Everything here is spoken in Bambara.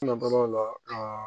N natɔla o la aa